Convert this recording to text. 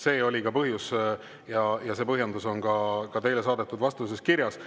See oli ka põhjus ja see põhjendus on ka teile saadetud vastuses kirjas.